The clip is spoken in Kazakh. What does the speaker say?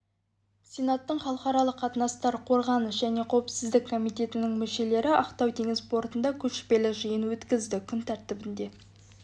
сенаттың халықаралық қатынастар қорғаныс және қауіпсіздік комитетінің мүшелері ақтау теңіз портында көшпелі жиын өткізді күн тәртібінде